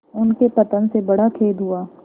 उनके पतन से बड़ा खेद हुआ